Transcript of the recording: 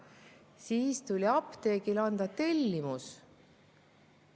Kõigepealt tuli apteegile anda tellimus.